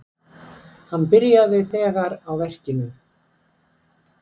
Hann byrjaði þegar á verkinu.